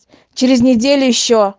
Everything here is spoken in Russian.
через неделю ещё